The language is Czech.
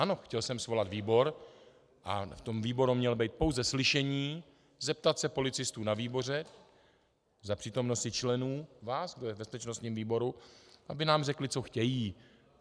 Ano, chtěl jsem svolat výbor a v tom výboru mělo být pouze slyšení, zeptat se policistů na výboru za přítomnosti členů, vás, kdo je v bezpečnostním výboru, aby nám řekli, co chtějí.